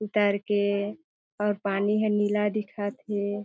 -- उतर के और पानी ह नीला दिखत हे।